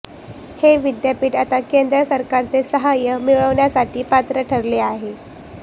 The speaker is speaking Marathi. हे विद्यापीठ आता केंद्र सरकारचे सहाय्य मिळविण्यासाठी पात्र ठरले आहे